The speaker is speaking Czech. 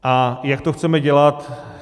A jak to chceme dělat?